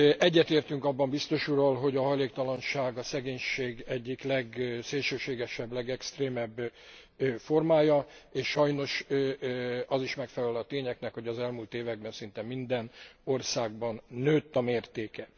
Egyetértünk abban biztos úrral, hogy a hajléktalanság a szegénység egyik legszélsőségesebb, legextrémebb formája, és sajnos az is megfelel a tényeknek, hogy az elmúlt években szinte minden országban nőtt a mértéke.